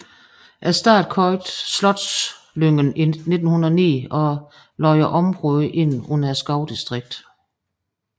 Staten købte Slotslyngen i 1909 og lagde området ind under skovdistriktet